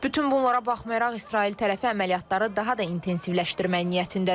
Bütün bunlara baxmayaraq İsrail tərəfi əməliyyatları daha da intensivləşdirmək niyyətindədir.